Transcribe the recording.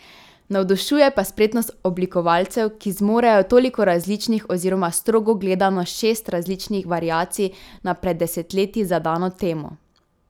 Navdušuje pa spretnost oblikovalcev, ki zmorejo toliko različnih oziroma strogo gledano šest različnih variacij na pred desetletji zadano temo.